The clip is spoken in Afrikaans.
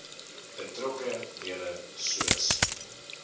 betrokke dele soos